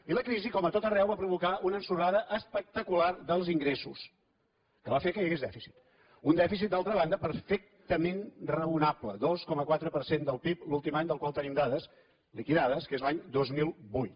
i la crisi com a tot arreu va provocar una ensorrada espectacular dels ingressos que va fer que hi hagués dèficit un dèficit d’altra banda perfectament raonable dos coma quatre per cent del pib l’últim any del qual tenim dades liquidades que és l’any dos mil vuit